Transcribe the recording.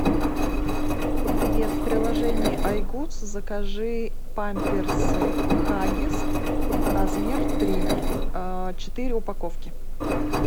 привет в приложении айгудс закажи памперсы хаггис размер три четыре упаковки